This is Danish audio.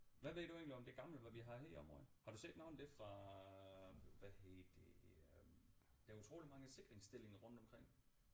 Hvad ved du egentlig om det gamle hvad vi har her i området har du set noget af det fra hvad hedder det øh der er utroligt mange sikringsstillinger rundt omkring